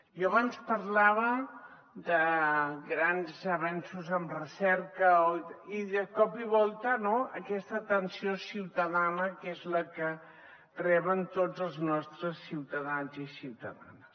jo abans parlava de grans avenços en recerca i de cop i volta aquesta atenció ciutadana que és la que reben tots els nostres ciutadans i ciutadanes